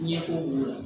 Ɲɛko b'o la